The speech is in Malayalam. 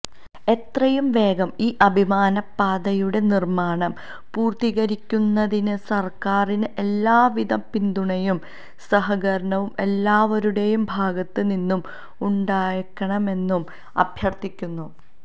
എത്രയും വേഗം ഈ അഭിമാനപ്പാതയുടെ നിര്മ്മാണം പൂര്ത്തീകരിക്കുന്നതിന് സര്ക്കാരിന് എല്ലാവിധ പിന്തുണയും സഹകരണവും എല്ലാവരുടേയും ഭാഗത്ത് നിന്നും ഉണ്ടാകണമെന്നും അഭ്യര്ത്ഥിക്കുന്നു